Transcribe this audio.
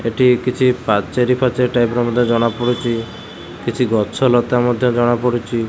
ଏଠି କିଛି ପାଚେରୀ-ଫାଚେରୀ ଟାଇପ୍ ର ମଧ୍ୟ ଜଣା ପଡୁଚି କିଛି ଗଛ ଲତା ମଧ୍ୟ ଜଣା ପଡୁଚି ।